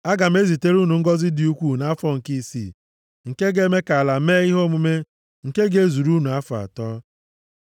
Aga m ezitere unu ngọzị dị ukwuu nʼafọ nke isii, nke ga-eme ka ala mee ihe omume nke ga-ezuru unu afọ atọ.